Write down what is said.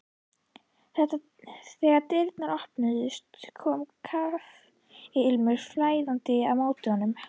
Þegar dyrnar opnuðust kom kaffiilmurinn flæðandi á móti honum.